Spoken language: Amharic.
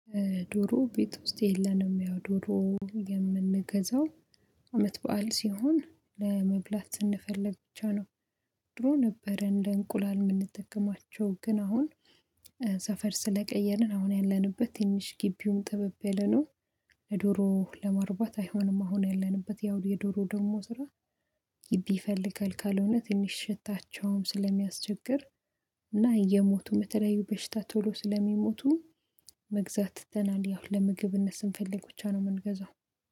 ዶሮ ቤት ውስጥ የለንም ያው ዶሮ የምንገዛው አመት በዓል ሲሆን ለመብላት ስንፈልግ ብቻ ነው። ድሮ ነበረ እንደ እንቁላል የምንጠቀማቸው ግን አሁን ሰፈር ስለቀየርን አሁን ያለንበት ትንሽ ግቢውም ጥበብ የለነው ለዶሮ ለማርባት አይሆንም አሁን ያለንበት ያው የዶሮ ደግሞ ስራ ግቢ ይፈልጋል ካልሆነ ትንሽ ሽታቸውም ስለሚያስቸግር እና እየሞቱ በተለያዩ በሽታ ቶሎ ስለሚሞቱ መግዛት ትተናል ያው እነሱን ፈልጎ ብቻ ነው የምንገዛው።